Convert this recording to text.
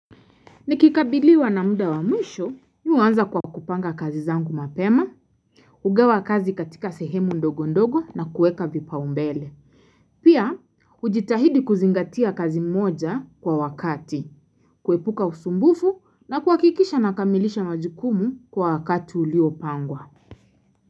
Nikikabiliwa na muda wa mwisho, niwaanza kwa kupanga kazi zangu mapema, hugawa kazi katika sehemu ndogo ndogo na kueka vipa umbele. Pia, ujitahidi kuzingatia kazi mmoja kwa wakati, kuepuka usumbufu na kuwakikisha na kamilisha majukumu kwa wakati uliopangwa.